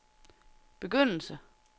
begyndelse